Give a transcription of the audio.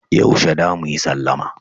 Yaushe za mu yi sallama?